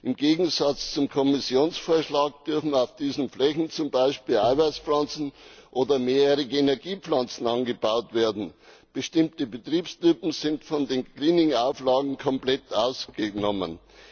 Im Gegensatz zum Kommissionsvorschlag dürfen auf diesen Flächen beispielsweise Eiweißpflanzen oder mehrjährige Energiepflanzen angebaut werden. Bestimmte Betriebstypen sind von den Greening Auflagen komplett ausgenommen.